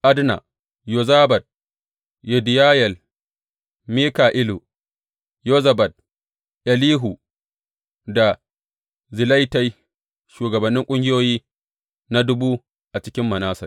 Adna, Yozabad, Yediyayel, Mika’ilu, Yozabad, Elihu da Zilletai, shugabannin ƙungiyoyi na dubu a cikin Manasse.